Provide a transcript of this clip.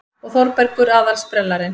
Og Þórbergur aðal-sprellarinn.